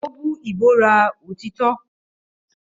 Ó bú ìbúra òtítọ́.